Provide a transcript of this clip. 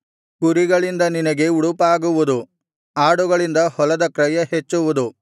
ಕುರಿಗಳಿಂದ ನಿನಗೆ ಉಡುಪಾಗುವುದು ಆಡುಗಳಿಂದ ಹೊಲದ ಕ್ರಯ ಹೆಚ್ಚುವುದು